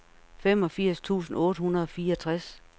femogfirs tusind otte hundrede og fireogtres